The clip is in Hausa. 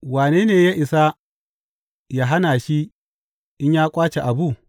Wane ne ya isa yă hana shi in ya ƙwace abu?